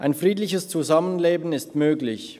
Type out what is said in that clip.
Ein friedliches Zusammenleben ist möglich.